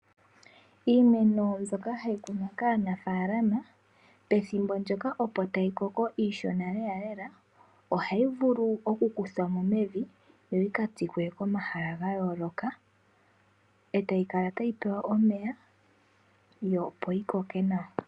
Iimeno mbyoka hayi kunwa kaanafaalama , pethimbo ndyoka opo tayi koko iishona , ohayi vulu oku ku thwamo mevi yo yi ka tsikwe komahala ga yooloka etayi kala tayi pewa omeya yo opo yi koke nawa.